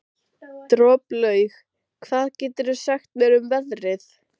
Droplaug, hvað geturðu sagt mér um veðrið?